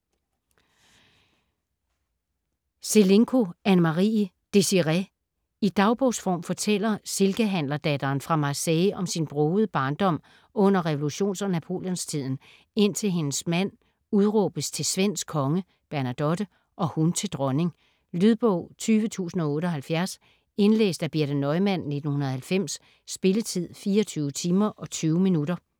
Selinko, Annemarie: Désirée I dagbogsform fortæller silkehandlerdatteren fra Marseille om sin brogede ungdom under revolutions- og Napoleonstiden, indtil hendes mand udråbes til svensk konge (Bernadotte) og hun til dronning. Lydbog 20078 Indlæst af Birthe Neumann, 1990. Spilletid: 24 timer, 20 minutter.